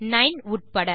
9 உள்ளிட